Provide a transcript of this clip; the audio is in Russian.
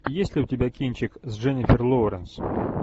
есть ли у тебя кинчик с дженнифер лоуренс